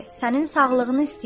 Sənin sağlığını istəyirəm.